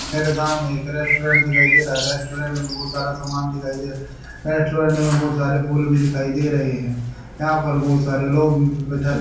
मेरे सामने एक रेस्टोरेंट दिखाई दे रहा है रेस्टोरेंट में बहुत सारा सामान दिखाई दे रहा है रेस्टोरेंट में बहुत सारे फूल भी दिखाई दे रहे हैं यहां पर बहुत सारे लोग भी --